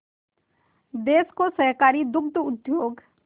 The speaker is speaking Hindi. देश को सहकारी दुग्ध उद्योग